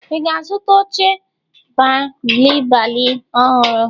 Ị ga-azụta oche bịalịbịalị ọhụrụ?